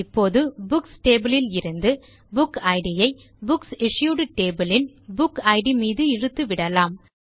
இப்போது books table யிருந்து book it ஐ புக்ஸ் இஷ்யூட் டேபிள் யின் புக் இட் மீது இழுத்துவிடலாம்